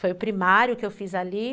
Foi o primário que eu fiz ali.